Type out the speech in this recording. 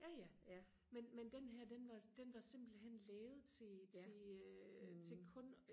ja ja men men den her den var den var simpelthen lavet til til øh til kun